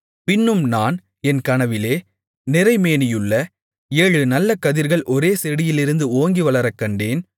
பின்னும் நான் என் கனவிலே நிறை மேனியுள்ள ஏழு நல்ல கதிர்கள் ஒரே செடியிலிருந்து ஓங்கி வளரக்கண்டேன்